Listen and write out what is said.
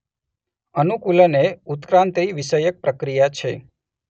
અનુકૂલન એ ઉત્ક્રાંતિ વિષયક પ્રક્રિયા છે